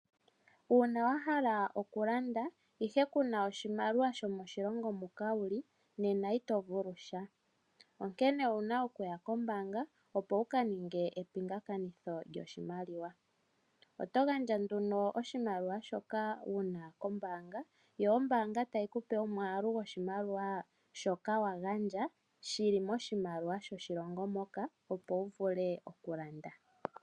Uuna wahala oku landa ihe kuna oshimaliwa shomoshilongo moka wuli nena ito vulu sha. Onkene owuna okuya kombanga opo wuka ninge epingakanitho lyoshimaliwa. Oto gandja nduno oshimaliwa shoka wuna kombanga yo ombanga tayi kupe omwaalu goshimaliwa shoka wa gandja shili moshimaliwa shoshilongo moka opo wu vule okulanda.